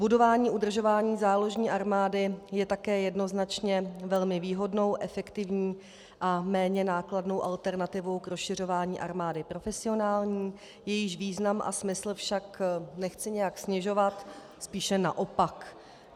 Budování, udržování záložní armády je také jednoznačně velmi výhodnou, efektivní a méně nákladnou alternativou k rozšiřování armády profesionální, jejíž význam a smysl však nechci nijak snižovat, spíše naopak.